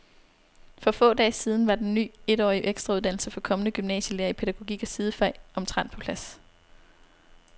For få dage siden var den ny etårige ekstrauddannelse for kommende gymnasielærere i pædagogik og sidefag omtrent på plads.